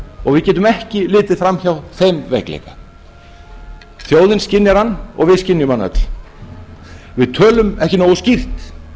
við getum ekki litið framhjá þeim veikleika þjóðin skynjar hann og við skynjum hann öll við tölum ekki nógu skýrt